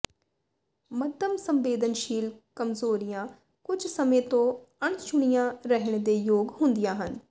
ਮੱਧਮ ਸੰਵੇਦਨਸ਼ੀਲ ਕਮਜ਼ੋਰੀਆਂ ਕੁਝ ਸਮੇਂ ਤੋਂ ਅਣਚੁਣਿਆ ਰਹਿਣ ਦੇ ਯੋਗ ਹੁੰਦੀਆਂ ਹਨ